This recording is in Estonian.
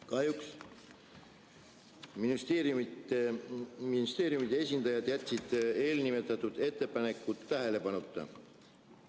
Kahjuks ministeeriumide esindajad jätsid eelnimetatud ettepanekud tähelepanuta.